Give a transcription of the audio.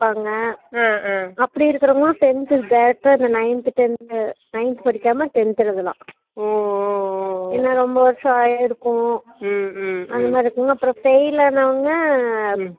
அஹ் plus two நா fail அப்புடிங்றவாங்க திரும்ப ஒரு வருஷம் full அ எழுதாலாம் சேரிசேரி இப்ப நீ plus two முடிச்சுடினா அப்புடியே college போலாமா அஹ் நேரடியா